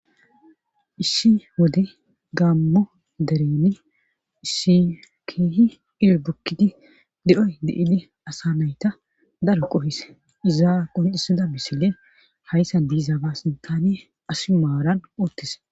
Issi wode gammo dereni issi kihi iro bukkidi de7oy de7ili asanayta daro qohis izaaa qonxisida bisile hayssa diizaaba sintane asi maaran oottis.